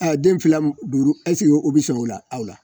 den fila duuru o bɛ sɔn o la awɔ